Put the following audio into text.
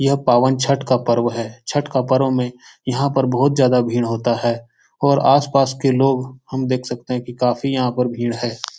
यह पावन छठ का पर्व है। छठ के पर्व में यहाँ पर बहुत ज्यादा भीड़ होता है और आस-पास के लोग हम देख सकते हैं की काफी यहाँ पर भीड़ है।